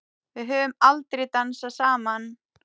Við höfum aldrei dansað saman.